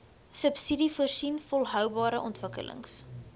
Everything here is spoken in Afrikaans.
subsidiesvoorsien volhoubare ontwikkelings